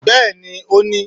Bẹ́ẹ̀ni, o ni!